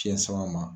Fiɲɛ sama ma